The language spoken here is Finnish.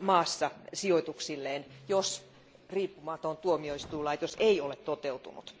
maassa sijoituksilleen, jos riippumaton tuomioistuinlaitos ei ole toteutunut.